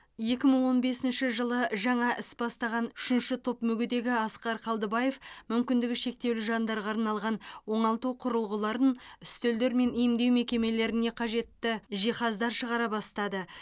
екі мың он бесінші жылы жаңа іс бастаған үшінші топ мүгедегі асқар қалдыбаев мүмкіндігі шектеулі жандарға арналған оңалту құрылғыларын үстелдер мен емдеу мекемелеріне қажетті жиһаздар шығара бастады